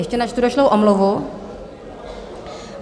Ještě načtu došlou omluvu.